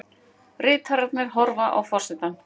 Ritararnir horfa á forsetann.